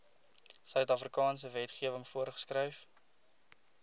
suidafrikaanse wetgewing voorgeskryf